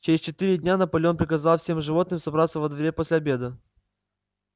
через четыре дня наполеон приказал всем животным собраться во дворе после обеда